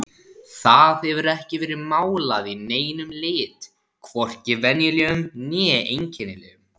Það hefur ekki verið málað í neinum lit, hvorki venjulegum né einkennilegum.